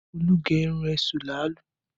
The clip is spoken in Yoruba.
Olú gé irun èṣù làálú